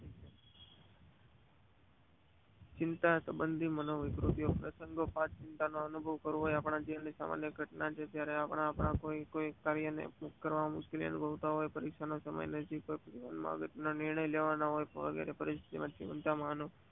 ચિતા સબોધિક માનો વિકૃતિઓ ચિંતા નો અનુભવ કરવો હોય આપણા જીવન ની સમય ઘટના જયારે આપણા કોઈ કાર્ય ને કરવા મુશ્કેલ અનુભવતા હોય જીવન માં અગત્ય ના નિર્ણય લેવાના હોય પરીક્ષા નો સમય નજીક હોય વગેરે ચિંતા માનો